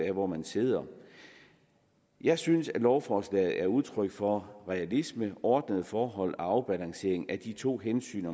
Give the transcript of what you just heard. af hvor man sidder jeg synes at lovforslaget er udtryk for realisme ordnede forhold og afbalancering af de to hensyn